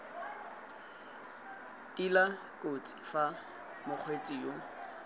tila kotsi fa mokgweetsi yo